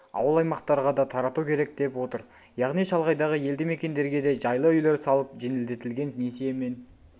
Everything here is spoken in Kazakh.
ауыл-аймақтарға да тарату керек деп отыр яғни шалғайдағы елді-мекендерге де жайлы үйлер салып жеңілдетілген несиемен